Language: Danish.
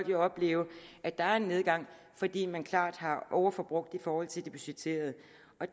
vil opleve at der er en nedgang fordi man klart har overforbrugt i forhold til det budgetterede